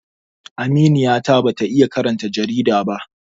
Aminiya ta ba ta iya karanta jarida ba